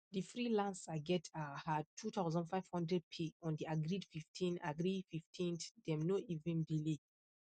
the freelancer get um her two thousand five hundred pay on the agreed fifteenth agreed fifteenth dem no even delay